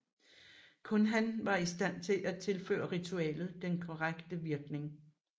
Kun han var i stand til at tilføre ritualet den korrekte virkning